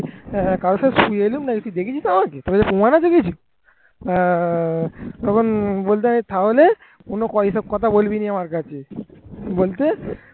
হ্যাঁ কারোর সাথে শুয়ে এলুম নাকি তুই দেখেছিস আমাকে? তোর কাছে প্রমাণ আছে কিছু হ্যাঁ তখন বলছে তাহলে অন্য কথা এসব কথা বলবি না আমার কাছে। বলতে